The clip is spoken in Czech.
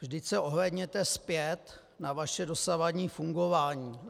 Vždyť se ohlédněte zpět na vaše dosavadní fungování.